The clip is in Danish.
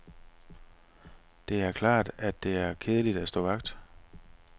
Det er klart, at det er kedeligt at stå vagt.